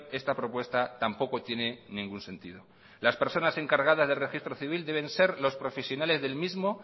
esta propuesta tampoco tiene ningún sentido las personas encargadas del registro civil deben ser los profesionales del mismo